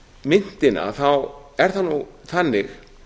myntina er það nú þannig